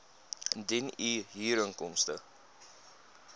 indien u huurinkomste